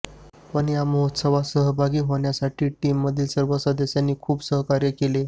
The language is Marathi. पण या महोत्सवात सहभागी होण्यासाठी टीममधील सर्व सदस्यांनी खूप सहकार्य केलं